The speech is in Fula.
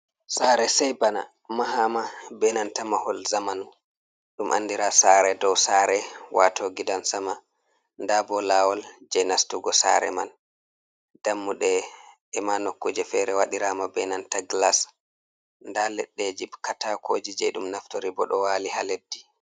Sare sai bana mahama be nanta mahol zamanu ɗum andira sare dow sare wato gidan-sama. Nda bo lawol je nastugo sare man dammuɗe e'ma nokkuje fere waɗirama be nanta glas. Nda leɗɗeji katakoji je ɗum naftori bo ɗo wali ha leddi.